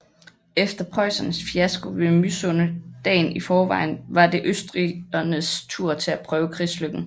Efter preussernes fiasko ved Mysunde dagen i forvejen var det østrigernes tur til at prøve krigslykken